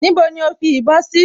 Níbo ni ó fi ìbọn sí?